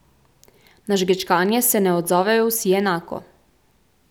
Na žgečkanje se ne odzovejo vsi enako.